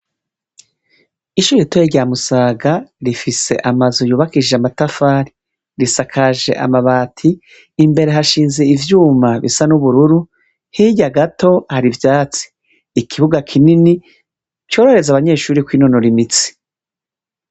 Ishure ritoyi rya Musaga rifise amazu yubakishije amatafari ,risakaje amabati imbere hashinze ivyuma bisaba nubururu, hirya Gato hari ivyatsi ikibuga kinini corohereza abanyeshure kwinonora imitsi.